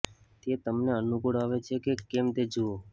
તે તમને અનુકૂળ આવે છે કે કેમ તે જુઓ